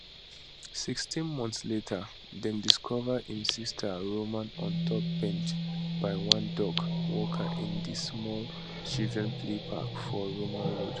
sixteen months later dem discover im sister roman ontop bench by one dog walker in di small children play park for roman road